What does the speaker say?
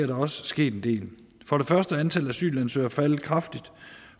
der også sket en del for det første er antallet af asylansøgere faldet kraftigt